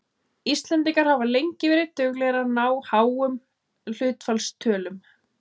Íslendingar hafa lengi verið duglegir við að ná háum hlutfallstölum.